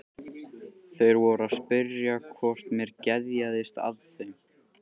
Þeir voru að spyrja hvort mér geðjaðist að þeim.